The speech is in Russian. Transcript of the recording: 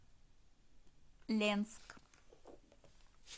ленск